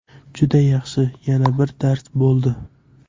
Juda yaxshi, yana bir dars bo‘ldi.